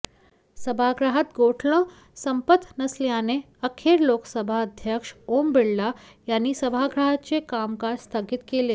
सभागृहात गोंधळ संपत नसल्याने अखेर लोकसभा अध्यक्ष ओम बिर्ला यांनी सभागृहाचे कामकाज स्थगित केले